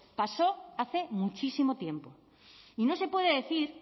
pasó hace muchísimo tiempo y no se puede decir